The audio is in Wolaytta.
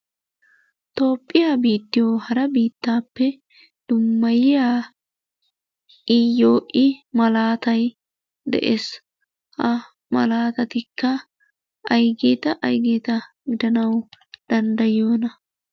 Toophphiya biittiyo hara biittaappe dummaayiya iyoo I malaattay de'ees. Ha malaatatikka ha malaatattikka aygeeta aygeeta giddanawu danddayiyooa?